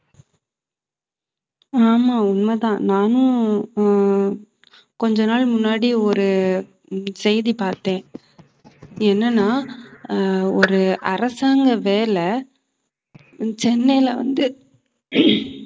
ஆமா உண்மைதான். நானும் ஹம் உம் கொஞ்ச நாள் முன்னாடி ஒரு உம் செய்தி பார்த்தேன் என்னன்னா ஆஹ் ஒரு அரசாங்க வேலை சென்னையில வந்து